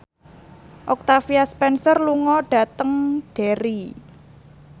Octavia Spencer lunga dhateng Derry